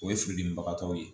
O ye fidilibagaw ye